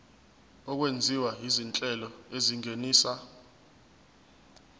okwenziwa izinhlelo ezingenisa